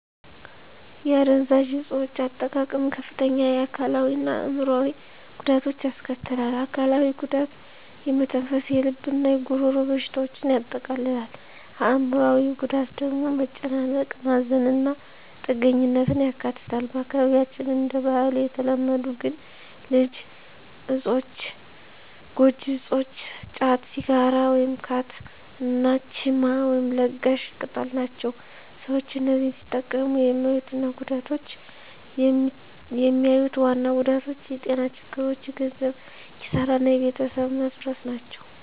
የአደንዛዥ እፆች አጠቃቀም ከፍተኛ የአካላዊ እና አዕምሮአዊ ጉዳቶችን ያስከትላል። አካላዊው ጉዳት የመተንፈስ፣ የልብ እና የጉሮሮ በሽታዎችን ያጠቃልላል። አዕምሮአዊው ጉዳት ደግሞ መጨናነቅ፣ ማዘን እና ጥገኛነትን ያካትታል። በአካባቢያችን እንደ ባህል የተለመዱ ግን ጎጂ እፆች ጫት፣ ሲጋራ (ካት) እና ቺማ (ለጋሽ ቅጠል) ናቸው። ሰዎች እነዚህን ሲጠቀሙ የሚያዩት ዋና ጉዳቶች የጤና ችግሮች፣ የገንዘብ ኪሳራ እና የቤተሰብ መፈረስ ናቸው።